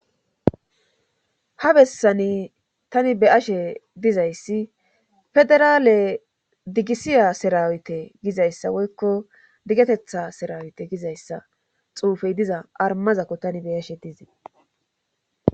Ha bessani tani be'ashe dizayssi federaale digisiya sirawite gizayssa woykko diggetetha sirawete gizayssa xuufey diza armazakko tani be'ashe dizay.